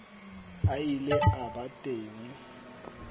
a ile a ba teng